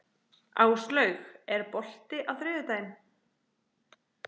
Áslaug, er bolti á þriðjudaginn?